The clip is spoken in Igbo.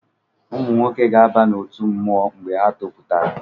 Ụmụnwoke ga-aba n’otu mmụọ mgbe ha topụtara